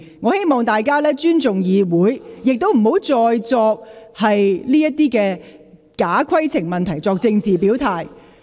我希望大家尊重議會，亦不要再藉假規程問題作政治表態。